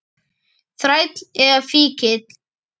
Þræll eða fíkill.